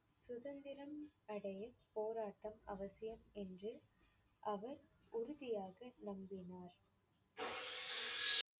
சுதந்திரம் அடைய போராட்டம் அவசியம் என்று அவர் உறுதியாக நம்பினார்.